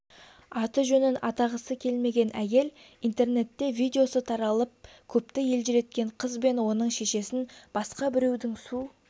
аты-жөнін атағысы келмеген әйел интернетте видеосы таралып көпті елжіреткен қыз бен оның шешесін басқа біреудің су